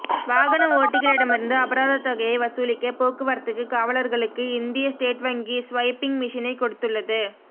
வாகன ஓட்டிகளிடமிருந்து அபராத தொகையை வசூலிக்க போக்குவரத்துக்கு காவலர்களுக்கு இந்திய ஸ்டேட் வங்கி ஸ்வைப்பிங் மிஷினை கொடுத்துள்ளது